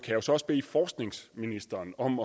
jeg så også bede forskningsministeren om